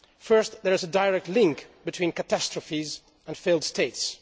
First, there is a direct link between catastrophes and failed states.